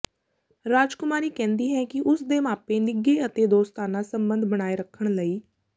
ਰਾਜਕੁਮਾਰੀ ਕਹਿੰਦੀ ਹੈ ਕਿ ਉਸ ਦੇ ਮਾਪੇ ਨਿੱਘੇ ਅਤੇ ਦੋਸਤਾਨਾ ਸੰਬੰਧ ਬਣਾਈ ਰੱਖਣ ਲਈ